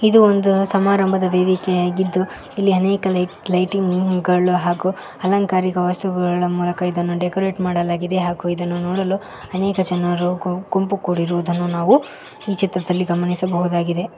ಇದು ಒಂದು ಸಮಾರಂಭದ ವೇದಿಕೆಯಾಗಿದ್ದು ಇಲ್ಲಿ ಅನೇಕ ಲೈಟಿಂಗ್ ಗಳು ಹಾಗೂ ಅಲಂಕಾರಿಕ ವಸ್ತುಗಳ ಮೂಲಕ ಡೆಕೋರೇಟ್ ಮಾಡಲಾಗಿದೆ ಹಾಗು ಇದನ್ನು ನೋಡಲು ಅನೇಕ ಜನರು ಗುಂಪು ಕೂಡಿರುವುದನ್ನು ಈ ಚಿತ್ರದಲ್ಲಿ ಗಮನಿಸಬಹುದು ಆಗಿದೆ.